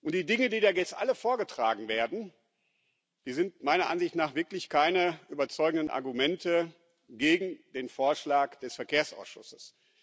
Die Dinge, die da jetzt alle vorgetragen werden, sind meiner Ansicht nach wirklich keine überzeugenden Argumente gegen den Vorschlag des Verkehrsausschusses.